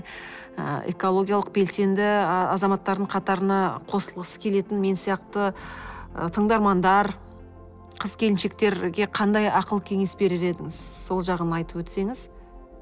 ы экологиялық белсенді ы азаматтардың қатарына қосылғысы келетін мен сияқты ы тыңдармандар қыз келіншектерге қандай ақыл кеңес берер едіңіз сол жағын айтып өтсеңіз